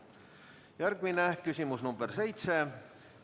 Järgmine küsimus, nr 7.